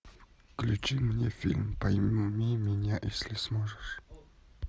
включи мне фильм пойми меня если сможешь